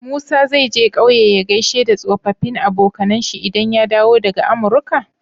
Musa zai je ƙauye ya gaishe da tsofafin abonkAnan shi idan ya dawo daka amurka?